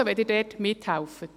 Danke, wenn Sie dort mithelfen.